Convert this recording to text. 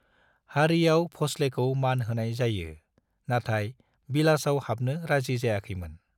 हारियाव भोंसलेखौ मान होनाय जायो , नाथाय बिलासआव हाबनो राजि जायाखैमोन।